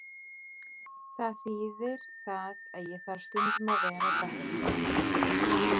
Það þíðir það að ég þarf stundum að vera á bekknum.